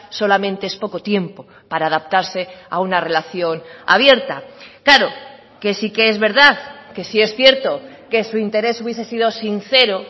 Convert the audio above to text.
solamente es poco tiempo para adaptarse a una relación abierta claro que sí que es verdad que sí es cierto que su interés hubiese sido sincero